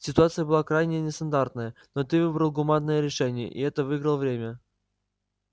ситуация была крайне нестандартная но ты выбрал гуманное решение и этим выиграл время